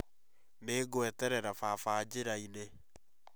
Nĩ ngweterera baba njĩra-inĩ